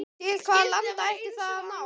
Til hvaða landa ætti það að ná?